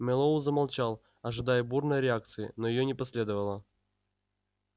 мэллоу замолчал ожидая бурной реакции но её не последовало